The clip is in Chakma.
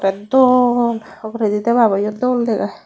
dol uguredi debaboyo dol degey.